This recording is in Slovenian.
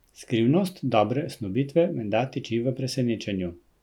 Skrivnost dobre snubitve menda tiči v presenečenju.